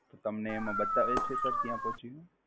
તમને એમાં બતાવે છે Sir ક્યાં પોચ્યું?